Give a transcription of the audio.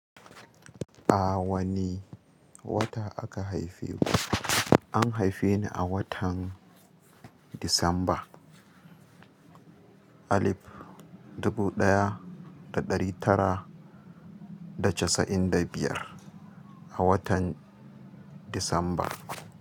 A wane wata aka haife ku? An haife ni a watan Disamba alif dubu ɗaya da ɗari tara da casa'in da biyar, a watan Disamba.